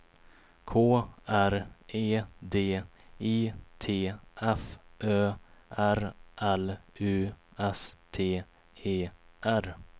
K R E D I T F Ö R L U S T E R